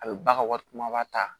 A bɛ ba ka wari kumaba ta